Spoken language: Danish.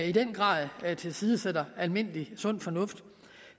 i den grad tilsidesætter almindelig sund fornuft